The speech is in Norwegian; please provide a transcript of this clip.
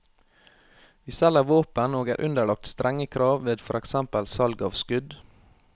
Vi selger våpen og er underlagt strenge krav ved for eksempel salg av skudd.